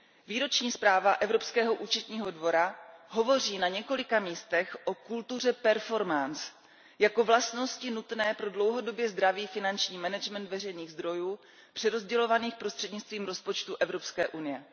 Výroční zpráva Evropského účetního dvora hovoří na několika místech o kultuře performance jako vlastnosti nutné pro dlouhodobě zdravý finanční management veřejných zdrojů přerozdělovaných prostřednictvím rozpočtu Evropské unie.